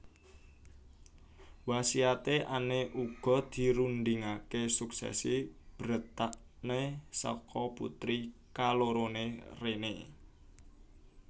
Wasiate Anne uga dirundingaké suksesi Bretagne saka putri kaloroné Renee